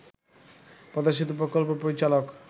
পদ্মা সেতু প্রকল্প পরিচালক